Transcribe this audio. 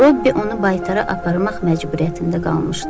Robbi onu baytara aparmaq məcburiyyətində qalmışdı.